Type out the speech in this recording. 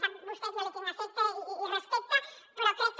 sap vostè que jo li tinc afecte i respecte però crec que